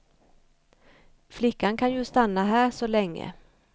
Flickan kan ju stanna här så länge.